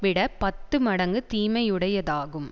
விட பத்து மடங்கு தீமையுடையதாகும்